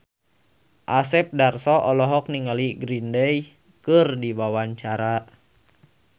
Asep Darso olohok ningali Green Day keur diwawancara